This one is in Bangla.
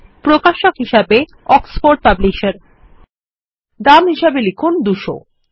প্রকাশক হিসাবেঅক্সফোর্ড পাবলিসার দাম হিসাবে লিখুন ২০০